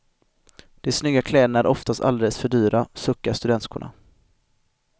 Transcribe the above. De snygga kläderna är oftast alldeles för dyra, suckar studentskorna.